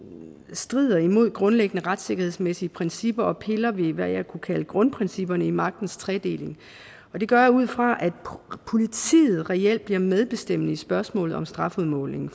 strider imod grundlæggende retssikkerhedsmæssige principper og piller ved hvad jeg kunne kalde grundprincipperne i magtens tredeling og det gør jeg ud fra at politiet reelt bliver medbestemmende i spørgsmålet om strafudmålingen